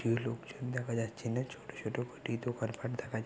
একটিও লোকজন দেখা যাচ্ছে না ছোট ছোট কটি দোকান পাট দেখা যা--